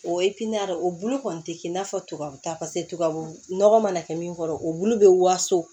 O o bulu kɔni tɛ kɛ i n'a fɔ tubabu ta tubabu nɔgɔ mana kɛ min kɔrɔ o bulu bɛ waso